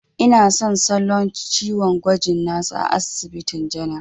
Ina son salo ciwon gwajin na su a asibitin janar.